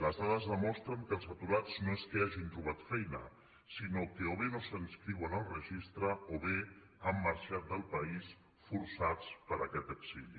les dades demostren que els aturats no és que hagin trobat feina sinó que o bé no s’inscriuen al registre o bé han marxat del país forçats per aquest exili